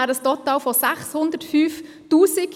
Dies ergäbe ein Total von 605 000 Franken.